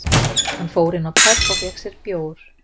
Hann fór inn á pöbb og fékk sér bjór